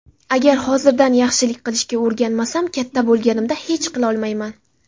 Agar hozirdan yaxshilik qilishga o‘rganmasam, katta bo‘lganimda hech qilolmayman.